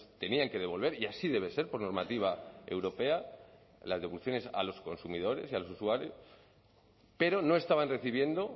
tenían que devolver y así debe ser por normativa europea las devoluciones a los consumidores y a los usuarios pero no estaban recibiendo